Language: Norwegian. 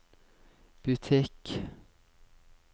butikk